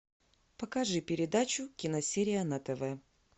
покажи передачу киносерия на тв